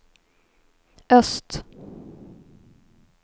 öst